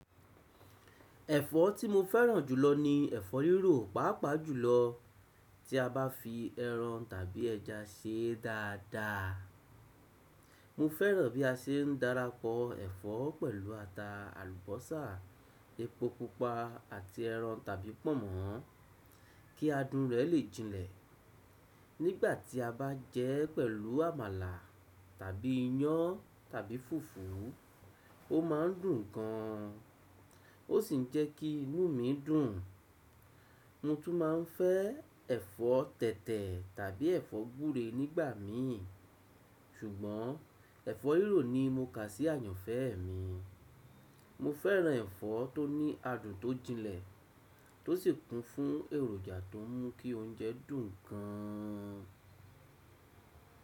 Ẹ̀fọ́ tí mo fẹ́ràn jùlọ ni ẹ̀fọ́ rírò, pàápàá jùlọ tí a bá fi ẹran tàbí ẹja ṣe dáadáa. Mo fẹ́ràn bí a ṣe ń darapọ̀ ẹ̀fọ́ pẹ̀lú ata, àlùbọ́sà, epo pupa àti ẹran tàbí pọ̀nmọ́ kí adùn rẹ̀ lè jinlẹ̀. Nígbà tí a bá jẹ ẹ́ pẹ̀lú àmàlà tàbí iyán tàbí fùfú, ó ma n dùn gan an. Ó sì ń jẹ́ kí inú mi dùn. Mo tún máa ń fẹ́ ẹ̀fọ́ tẹ̀tẹ̀ tàbí ẹ̀fọ́ gbúre nígbà mi. Ṣùgbọ́n ẹ̀fọ́ rírò ni mo kà sí àyànfẹ́ mi. Mo fẹ́ràn ẹ̀fọ́ tó ní adùn tó jinlẹ̀ tọ́ sì kún fún èròjà tó mú kí oúnjẹ dùn gan an.